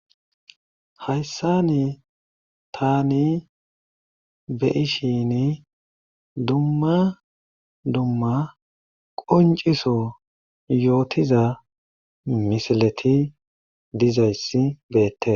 Hayssani taani be'ishini dumma dumma qoncciso yootiza misileti dizayti beetees.